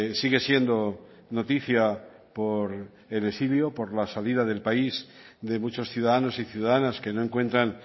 sigue siendo noticia por el exilio por la salida del país de muchos ciudadanos y ciudadanas que no encuentran